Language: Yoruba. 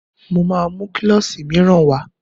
Mo máa mú klọ́ṣì míràn wá.